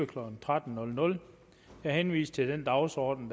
klokken tretten jeg henviser til den dagsorden